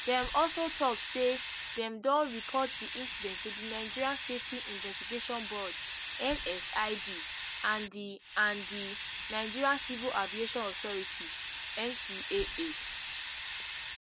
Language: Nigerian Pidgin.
dem also tok say dem don report di incident to di nigerian safety investigation board nsib and di and di nigeria civil aviation authority ncaa